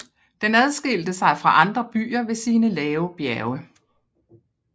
Den adskilte sig fra andre byer ved sine lave bjerge